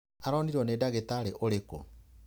Aronirwo nĩ ndagitarĩ ũrĩkũ?.